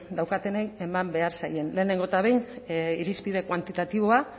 daukatenei eman behar zaien lehenengo eta behin irizpide kuantitatiboa